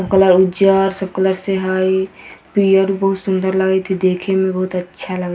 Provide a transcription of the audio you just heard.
पेड़ भी बहुत सुन्दर लगत हई देखे में बहुत अच्छा --